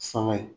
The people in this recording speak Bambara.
Sanga